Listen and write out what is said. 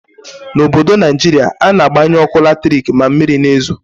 N'obodo Naijiria, a na-agbanyu ọkụ latrik ma mmiri na-ezo.